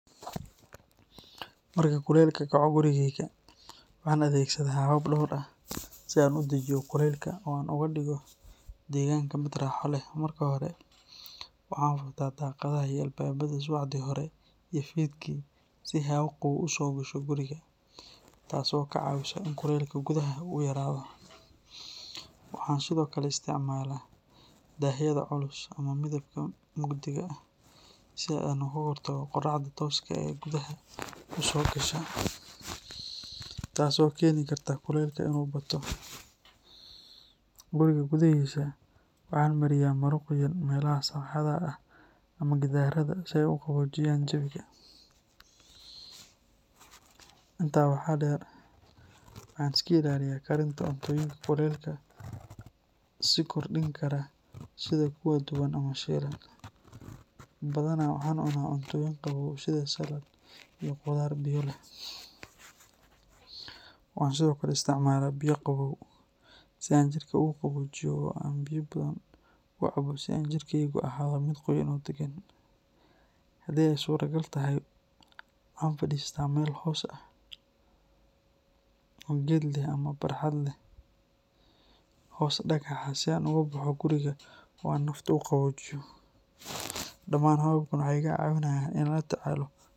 Marka kulaylka kaco gurigeyga, waxaan adeegsadaa habab dhowr ah si aan u dajiyo kulaylka oo aan uga dhigo deegaanka mid raaxo leh. Marka hore, waxaan furtaa daaqadaha iyo albaabada subaxdii hore iyo fiidkii si hawo qabow u soo gasho guriga, taasoo ka caawisa in kulaylka gudaha uu yaraado. Waxaan sidoo kale isticmaalaa daahyada culus ama midabka mugdiga ah si aan uga hortago qoraxda tooska ah ee gudaha u soo gasha, taasoo keeni karta kulaylka inuu bato. Guriga gudaahiisa, waxaan mariyaa maro qoyan meelaha sagxadda ah ama gidaarrada si ay u qaboojiyaan jawiga. Intaa waxaa dheer, waxaan iska ilaaliyaa karinta cuntooyinka kulaylka sii kordhin kara sida kuwa duban ama shiilan, badanaa waxaan cunaa cuntooyin qabow sida salad iyo khudaar biyo leh. Waxaan sidoo kale isticmaalaa biyo qabow si aan jirka uga qaboojiyo oo aan biyo badan u cabo si aan jirkeygu u ahaado mid qoyan oo degan. Haddii ay suuragal tahay, waxaan fadhiistaa meel hoos ah oo geed leh ama barxad leh hoos dhagax ah si aan uga baxo guriga oo aan nafta u qaboojiyo. Dhammaan hababkan waxay iga caawiyaan inaan la tacaalo.